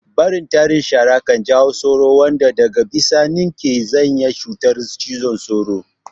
Barin tarin shara kan jawo sauro wanda daga bisani ke sanya cutar cizon sauro